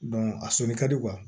a sɔli ka di